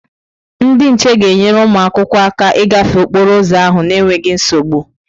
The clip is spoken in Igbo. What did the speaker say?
Ndị nche ga-enyere ụmụ akwụkwọ aka ịgafe okporo ụzọ ahụ n'enweghị nsogbu.